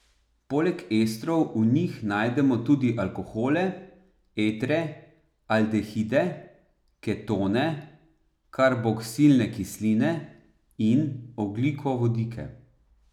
Poleg estrov v njih najdemo tudi alkohole, etre, aldehide, ketone, karboksilne kisline, in ogljikovodike.